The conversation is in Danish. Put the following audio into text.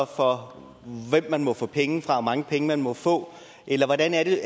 for hvem man må få penge fra mange penge man må få eller hvordan er det